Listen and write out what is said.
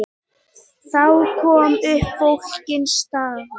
Þá kom upp flókin staða.